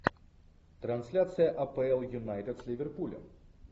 трансляция апл юнайтед с ливерпулем